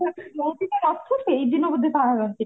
ମୁଁ ବି ତ ରଥ ସେଇ ଦିନ ବୋଧେ ବାହାରନ୍ତି